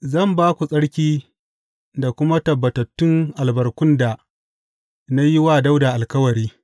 Zan ba ku tsarki da kuma tabbatattun albarkun da na yi wa Dawuda alkawari.’